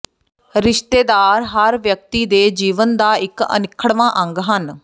ਰਿਸ਼ਤੇਦਾਰ ਹਰ ਵਿਅਕਤੀ ਦੇ ਜੀਵਨ ਦਾ ਇਕ ਅਨਿੱਖੜਵਾਂ ਅੰਗ ਹਨ